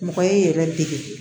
Mɔgɔ y'i yɛrɛ dege